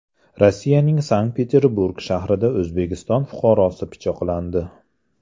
Rossiyaning Sankt-Peterburg shahrida O‘zbekiston fuqarosi pichoqlandi.